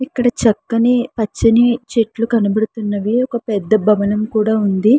ఇక్కడ చక్కని పచ్చని చెట్లు కనపడుతున్నవి ఒక పెద్ద భవనం కూడా ఉంది.